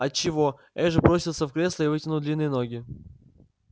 от чего эш бросился в кресло и вытянул длинные ноги